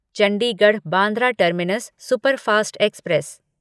Chandigarh Bandra terminus superfast express